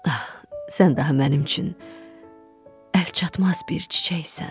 Ah, sən daha mənim üçün əlçatmaz bir çiçəksən.